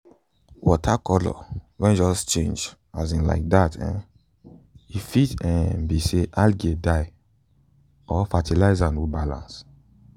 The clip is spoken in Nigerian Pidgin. water color wen just change um like that um e fit um be say algae die or fertilizer no balance